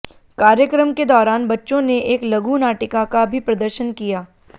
कार्यक्रम के दौरान बच्चों ने एक लघु नाटिका का भी प्रदर्शन किया